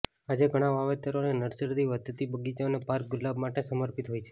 આજે ઘણા વાવેતરો અને નર્સરી વધતી બગીચો અને પાર્ક ગુલાબ માટે સમર્પિત હોય છે